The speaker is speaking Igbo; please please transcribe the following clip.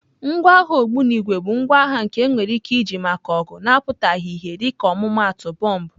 Ngwa agha ogbunigwe bụ ngwa agha nke enwere ike iji maka ọgụ na-apụtaghị ìhè dịka ọmụmaatụ bọmbụ.